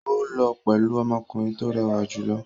Ó lọ pẹ̀lú ọmọkùnrin tó rẹwà jù lọ.